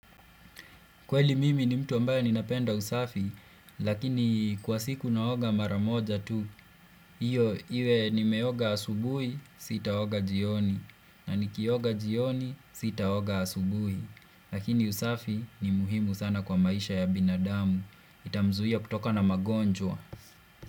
Kweli mimi ni mtu ambaye ni napenda usafi, lakini kwa siku naoga maramoja tu. Hiyo, iwe nimeoga asubuhi, sitaoga jioni. Na ni kioga jioni, sitaoga asubuhi. Lakini usafi ni muhimu sana kwa maisha ya binadamu. Itamzuia kutokana na magonjwa.